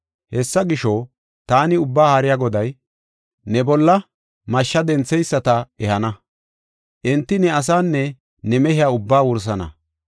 Hessa gisho, taani Ubbaa Haariya Goday, ne bolla mashshe dentheyisata ehana; enti ne asaanne ne mehiya ubbaa wursana.